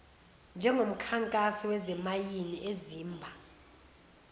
njengomkhankaso wezimayini ezimba